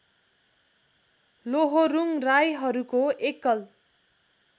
लोहोरुङ राईहरूको एकल